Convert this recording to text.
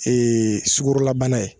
Ee sugorolabana ye